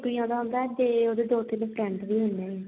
ਵਿਰਕ ਆਉਂਦਾ ਹੁੰਦਾ ਤੇ ਉਹਦੇ ਦੋ ਤਿੰਨ friends ਵੀ ਹੁੰਦੇ ਆ